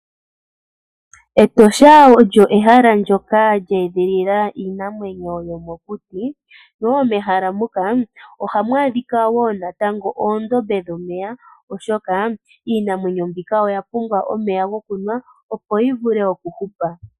Etosha olyo ehala ndyoka lye edhilila iinamwenyo yomokuti. Mehala muka ohamu adhika wo oondombe dhomeya, oshoka iinamwenyo mbika oya pumbwa omeya gokunwa, opo yi vule okuhupa.